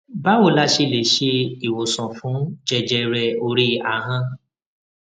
báwo la ṣe lè se iwosan fun jẹjẹre ori ahan